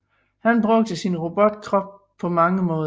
Han kan bruge sin robotkrop på mange måder